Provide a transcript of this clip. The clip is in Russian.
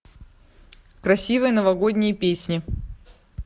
красивые новогодние песни